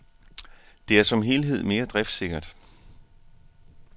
Det er som helhed mere driftssikkert.